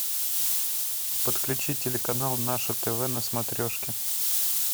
подключи телеканал наше тв на смотрешке